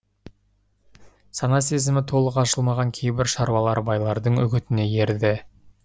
сана сезімі толық ашылмаған кейбір шараулар байлардың үгітіне ерді